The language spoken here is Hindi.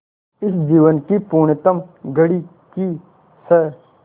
इस जीवन की पुण्यतम घड़ी की स्